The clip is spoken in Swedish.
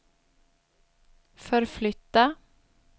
förflytta